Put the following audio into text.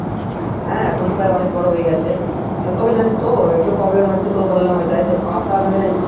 হ্যাঁ এখন প্রায় অনেক বড়ো হয়ে গেছে আহ তবে জানিস তো একটু problem হচ্ছে বললাম ওইটা পাতা মানে।